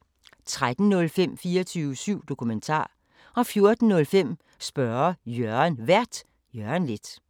13:05: 24syv Dokumentar 14:05: Spørge Jørgen Vært: Jørgen Leth